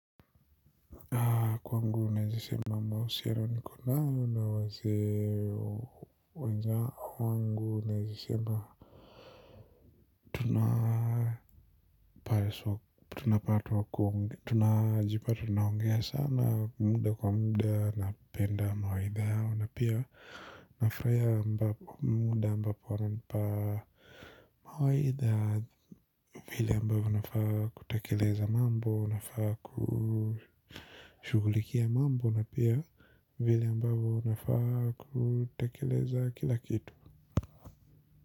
Kwa wangu unajisema mausiyarani kundayo na waze wangu unajisema. Tunapato wa kongi tunajipato naongea sana muda kwa muda na penda mawaidha yao. Na pia nafaya mbapo muda mbapo wana nipa mawaidha. Vile ambavyo nafaa kutakeleza mambo nafaa kushugulikia mambo na pia vile ambavyo unafaa kutekeleza kila kitu.